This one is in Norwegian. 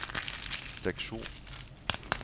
seksjon